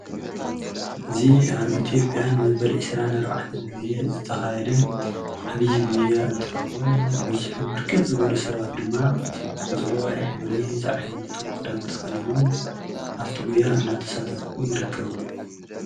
እዚ ኣብ ኢትዮጵያ ንመበል 24 ጊዜ ዝተኻየደ ዓብይ ጉያ እንትኸውን ብዙሕን ብርክት ዝበሉ ሰባት ድማ ቆፅለዋይ ሕብሪ ዝዓይነቱ ኽዳን ተኸዲኖም ኣብቲ ጉያ እንዳተሳተፉ ይርከቡ።